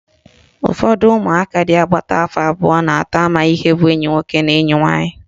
Ụfọdụ umụaka dị agbata afọ abụọ na atọ amaghị ihe bụ enyi nwoke na enyi nwaanyị